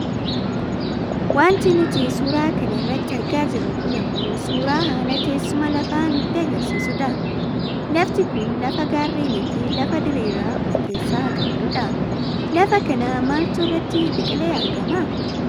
Wanti nuti suura kana irratti argaa jirru kun ammoo suuraa haala teessuma lafaa nutti agarsiisu dha. Lafti kun lafa gaarreenifi lafa diriiraa of keessaa qabdudha. Lafa kana maaltu irratti biqilee argama?